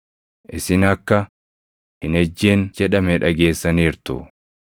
“Isin akka, ‘Hin ejjin’ + 5:27 \+xt Bau 20:14\+xt* jedhame dhageessaniirtu.